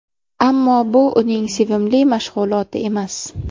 Ammo bu uning sevimli mashg‘uloti emas.